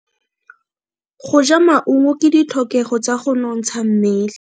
Go ja maungo ke ditlhokego tsa go nontsha mmele.